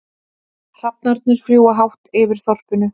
Hrafnarnir fljúga hátt yfir þorpinu.